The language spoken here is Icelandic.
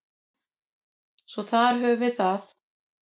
Svo þar höfum við það.